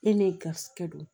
E ni garizigɛ don